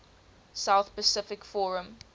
south pacific forum